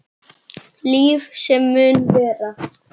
Líf sem mun vara.